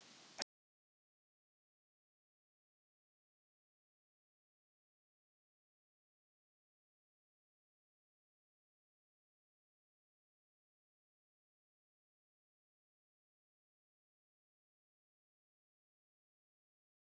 Sefanía, ég kom með sextíu og sex húfur!